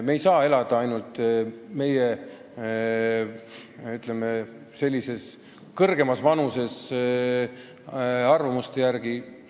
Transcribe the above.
Me ei saa elada ainult meie, ütleme, sellises kõrgemas vanuses inimeste arusaamade järgi.